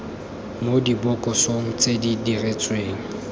mo dibokosong tse di diretsweng